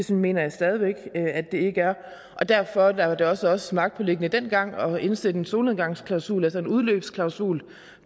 det mener jeg stadig væk at det ikke er og derfor var det os også magtpåliggende dengang at indsætte en solnedgangsklausul altså en udløbsklausul